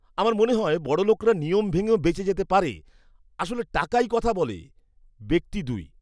আমার মনে হয় বড়লোকরা নিয়ম ভেঙেও বেঁচে যেতে পারে। আসলে টাকাই কথা বলে! ব্যক্তি দুই